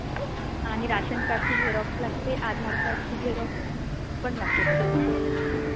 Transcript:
आणि राशन कार्डची झेरॉक्स लागते आणि आधारकार्डची झेरॉक्स पण लागते त्याबरोबर..